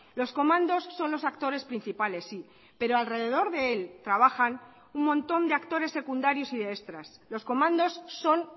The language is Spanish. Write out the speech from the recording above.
los comandos son los actores principales sí pero alrededor de él trabajan un montón de actores secundarios y de extras los comandos son